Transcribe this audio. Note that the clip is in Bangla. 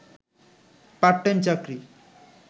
পার্ট টাইম চাকরি